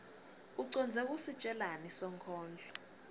ucondze kusitjelani sonkondlo